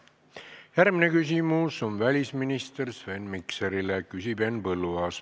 Järgmine küsimus on välisminister Sven Mikserile, küsib Henn Põlluaas.